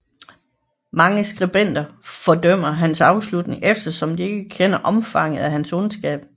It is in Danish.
Mange skribenter fordømmer hans afslutning eftersom de ikke kender omfanget af hans ondskab